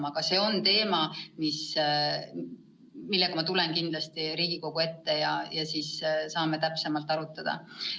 Aga see on teema, millega ma tulen kindlasti Riigikogu ette, siis saame täpsemalt seda arutada.